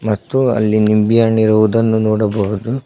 ಮತ್ತು ಅಲ್ಲಿ ನಿಂಬಿಹಣ್ಣು ಇರುವುದನ್ನು ನೋಡಬಹುದು.